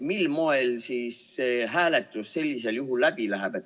Mil moel siis see ettepanek läbi läheb?